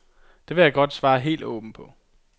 Det vil jeg godt svare helt åbent på.